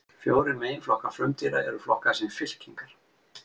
Fjórir meginflokkar frumdýra eru flokkaðir sem fylkingar.